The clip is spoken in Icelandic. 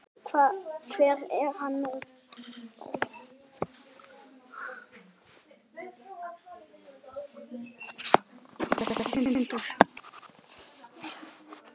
Hver er hann nú?